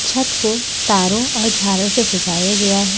छत को तारों और झाड़ से सजाया गया है।